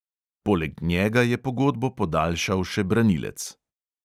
Poleg njega je pogodbo podaljšal še branilec.